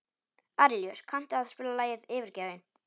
Arilíus, kanntu að spila lagið „Yfirgefinn“?